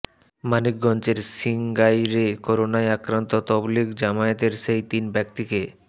মানিকগঞ্জের সিংগাইরে করোনায় আক্রান্ত তাবলিগ জামায়াতের সেই তিন ব্যক্তিকে